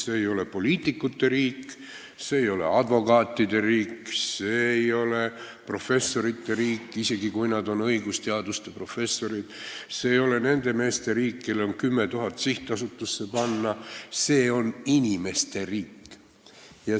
See ei ole poliitikute riik, see ei ole advokaatide riik, see ei ole professorite riik, isegi kui nad on õigusteaduse professorid, see ei ole nende meeste riik, kellel on 10 000 eurot sihtasutusse panna – see on inimeste riik.